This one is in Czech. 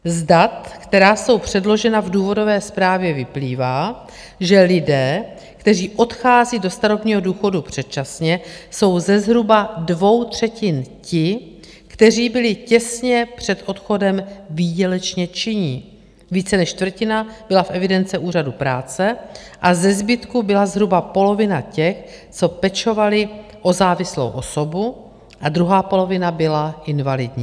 Z dat, která jsou předložena v důvodové zprávě, vyplývá, že lidé, kteří odchází do starobního důchodu předčasně, jsou ze zhruba dvou třetin ti, kteří byli těsně před odchodem výdělečně činní, více než čtvrtina byla v evidence úřadu práce a ze zbytku byla zhruba polovina těch, co pečovali o závislou osobu, a druhá polovina byla invalidní.